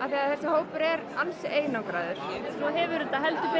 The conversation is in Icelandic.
því þessi hópur er ansi einangraður svo hefur þetta